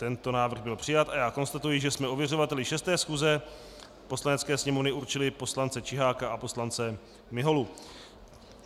Tento návrh byl přijat a já konstatuji, že jsme ověřovateli 6. schůze Poslanecké sněmovny určili poslance Čiháka a poslance Miholu.